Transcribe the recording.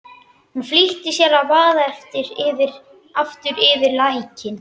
Hún flýtti sér að vaða aftur yfir lækinn.